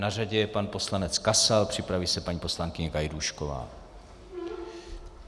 Na řadě je pan poslanec Kasal, připraví se paní poslankyně Gajdůšková.